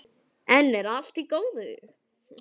Enn er allt í góðu.